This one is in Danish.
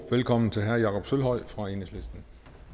velkommen til herre jakob sølvhøj fra enhedslisten